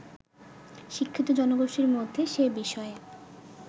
শিক্ষিত জনগোষ্ঠীর মধ্যে সে বিষয়ে